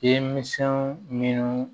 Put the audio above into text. Denminsɛnw minnu